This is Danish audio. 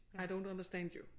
I don't understand you